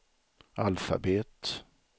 alfabet